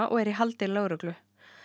og er í haldi lögreglu